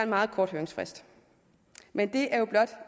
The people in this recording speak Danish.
meget kort høringsfrist men det er jo blot